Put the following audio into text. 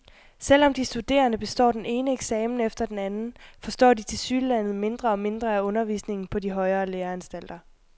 Selvom de studerende består den ene eksamen efter den anden, forstår de tilsyneladende mindre og mindre af undervisningen på de højere læreanstalter.